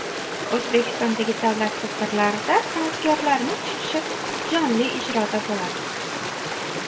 O‘zbekistondagi davlat tadbirlarida san’atkorlarning chiqishi jonli ijroda bo‘ladi.